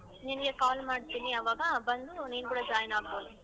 ನಿನ್ಗೆ call ಮಾಡ್ತಿನಿ ಅವಾಗ ಬಂದು ನೀನ್ ಕೂಡ join ಆಗ್ಬೋದು.